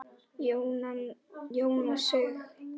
Jónas Sig.